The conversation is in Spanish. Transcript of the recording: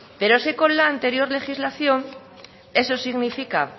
pero es que con la anterior legislación eso significa